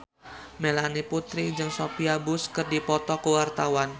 Melanie Putri jeung Sophia Bush keur dipoto ku wartawan